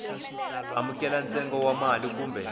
amukela ntsengo wa mali kumbe